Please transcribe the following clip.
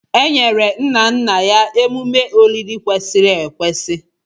E nyere nna nna ya emume olili kwesịrị ekwesị.